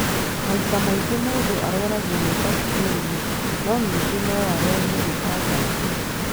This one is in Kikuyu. Maita maingĩ mũndũ arwaragio nĩ mbakitĩria no ningĩ no ũrwario nĩ fungus.